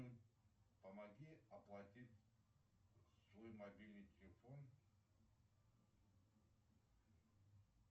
помоги оплатить свой мобильный телефон